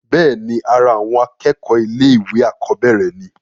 bẹ́ẹ̀ni, ara àwọn akẹ́kọ̀ọ́ ilé ìwé àkọ́bẹ̀rẹ̀ ni